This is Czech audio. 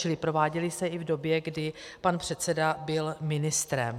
Čili prováděly se i v době, kdy pan předseda byl ministrem.